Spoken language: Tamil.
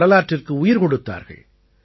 வரலாற்றிற்கு உயிர் கொடுத்தார்கள்